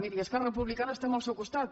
miri esquerra republicana estem al seu costat